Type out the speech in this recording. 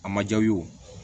A ma ja u ye